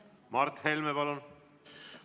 Mart Helme, palun!